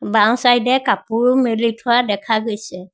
বাওঁ চাইড এ কাপোৰ মেলি থোৱা দেখা গৈছে।